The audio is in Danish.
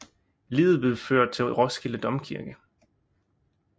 Liget blev ført til Roskilde Domkirke